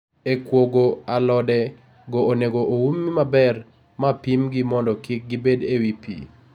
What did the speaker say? E kuogo, alode go onego oumi maber ma pimgi mondo kik gibed e wi pi